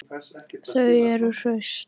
Þau eru hraust